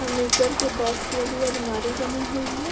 Furniture के box वाली अलमारी बनी हुई है।